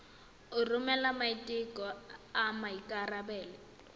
go romela maiteko a maikarebelo